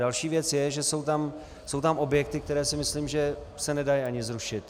Další věc je, že jsou tam objekty, které si myslím, že se nedají ani zrušit.